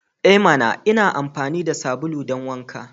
E mana! Ina amfani da sabulu don wanka.